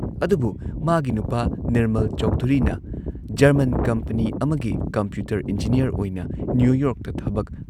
ꯑꯗꯨꯕꯨ ꯃꯥꯒꯤ ꯅꯨꯄꯥ ꯅꯤꯔꯃꯜ ꯆꯧꯙꯨꯔꯤꯅ ꯖꯔꯃꯟ ꯀꯝꯄꯅꯤ ꯑꯃꯒꯤ ꯀꯝꯄ꯭ꯌꯨꯇꯔ ꯏꯟꯖꯤꯅꯤꯌꯔ ꯑꯣꯏꯅ ꯅ꯭ꯌꯨꯌꯣꯔꯛꯇ ꯊꯕꯛ